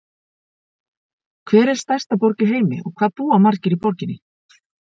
Hver er stærsta borg í heimi og hvað búa margir í borginni?